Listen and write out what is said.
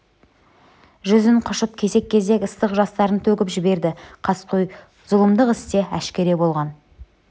жүзін құшып кесек-кесек ыстық жастарын төгіп-төгіп жіберді қаскөй зұлымдық іс те әшкере болған